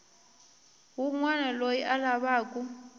wun wana loyi a lavaku